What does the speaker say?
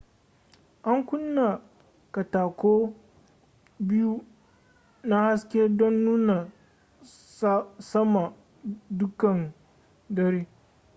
an kunna katako biyu na haske don nuna sama dukkan dare